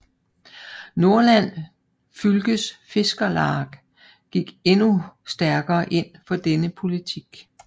Nordland Fylkes Fiskarlag gik endnu stærkere ind for denne politik